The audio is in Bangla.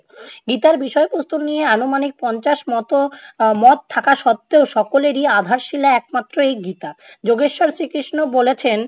গীতার বিষয়বস্তু নিয়ে আনুমানিক পঞ্চাশ মতো আহ মত থাকা সত্ত্বেও সকলেরই আধার শীলা একমাত্র এই গীতা, যোগেশ্বর শ্রীকৃষ্ণ বলেছেন-